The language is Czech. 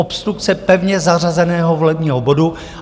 Obstrukce pevně zařazeného volebního bodu!